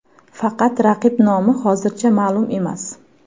Faqat raqib nomi hozircha ma’lum emas.